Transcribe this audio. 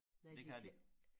Det kan de